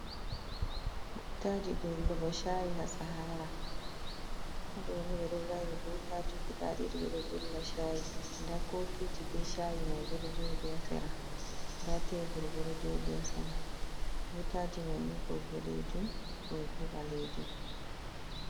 Butaji dollugo shayi ha sahara, ha ɗoni ɓeɗo vaini butaji guda ɗiɗi ɓedo dolla shayi nda kofiji be chayi mai bo joɗi ha sera nda tebur bo ɗo joɗi ha sera butaji maini ɗo boɗejum ɗo bo ɓalejum.